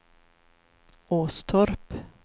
Åstorp